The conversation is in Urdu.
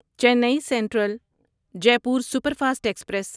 چینی سینٹرل جیپور سپرفاسٹ ایکسپریس